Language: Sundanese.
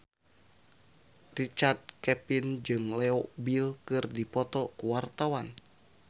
Richard Kevin jeung Leo Bill keur dipoto ku wartawan